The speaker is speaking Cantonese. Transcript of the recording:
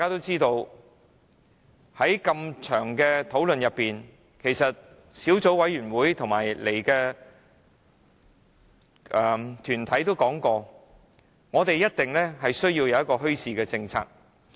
在漫長的討論過程中，小組委員會和出席的團體均曾表示，政府一定要制訂一個墟市政策。